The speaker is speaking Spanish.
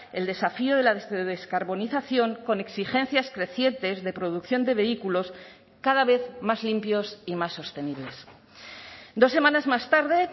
el desafío de la descarbonización con exigencias crecientes de producción de vehículos cada vez más limpios y más sostenibles dos semanas más tarde